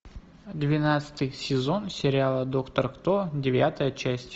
двенадцатый сезон сериала доктор кто девятая часть